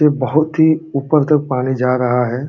ये बोहोत ही ऊपर तक पानी जा रहा है।